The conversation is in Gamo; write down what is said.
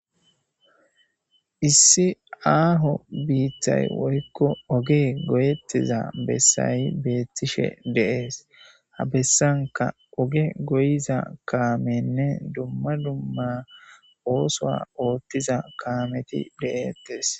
issi aaho biittay woykko oge goyettiza bessayi beettishe deees habessanka oge goyiza kaamenne dumma dumma oosoa ooththiza kaameti de7ettes